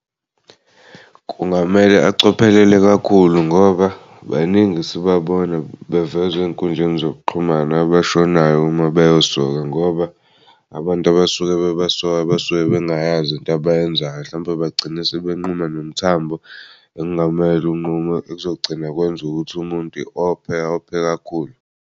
Kungamele acophelele kakhulu ngoba baningi sibabona bevezw'ey'nkundleni zokuxhumana abashonayo uma beyosoka ngoba abantu abasuke bebasoka basuke bengayazi into abayenzayo mhlawumpe bagcine sebebenquma nomthambo engamele unqunywe okuzogcina kwenza ukuthi umuntu ophe ophe kakhulu.